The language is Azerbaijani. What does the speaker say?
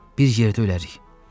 Bir yerdə ölərək.”